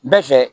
Bɛɛ fɛ